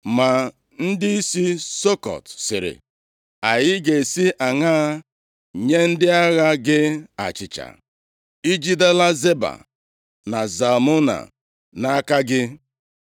Ma ndịisi Sukọt sịrị, “Anyị ga-esi aṅaa nye ndị agha gị achịcha? Ijidela Zeba na Zalmuna nʼaka gị?”